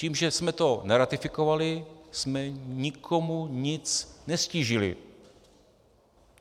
Tím, že jsme to neratifikovali, jsme nikomu nic neztížili.